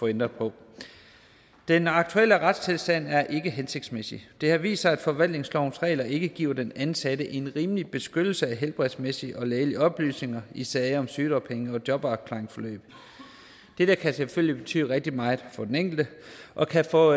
ændre på den aktuelle retstilstand er ikke hensigtsmæssig det har vist sig at forvaltningslovens regler ikke giver den ansatte en rimelig beskyttelse af helbredsmæssige og lægelige oplysninger i sager om sygedagpenge og jobafklaringsforløb dette kan selvfølgelig betyde rigtig meget for den enkelte og kan få